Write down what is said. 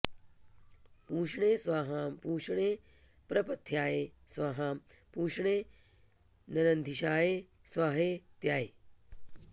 पू॒ष्णे स्वाहा॑ पू॒ष्णे प्र॑प॒थ्या॑य॒ स्वाहा॑ पू॒ष्णे न॒रन्धि॑षाय॒ स्वाहेत्या॑ह